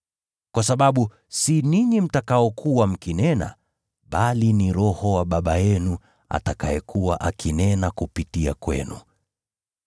Kwa sababu si ninyi mtakaokuwa mkinena, bali ni Roho wa Baba yenu atakayekuwa akinena kupitia kwenu.